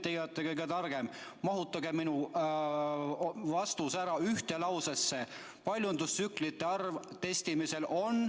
Teie olete kõige targem, mahutage vastus mulle ära ühte lausesse: paljundustsüklite arv testimisel on ...